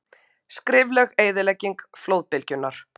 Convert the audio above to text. Skelfileg eyðilegging flóðbylgjunnar